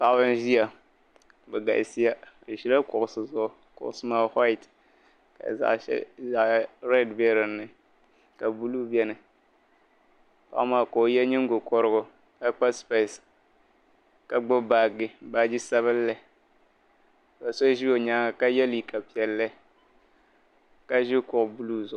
Paɣiba n-ʒiya bɛ galisiya bɛ ʒila kuɣusi zuɣu kuɣusi maa whayiti ka zaɣi red be din ni ka buluu beni paɣa maa ka o ye ningokɔrigu ka kpa sipesi ka gbubi baaji baaji sabinli ka so ʒi o nyaaŋa ka ye liiga piɛlli ka ʒi kuɣu buluu zuɣu.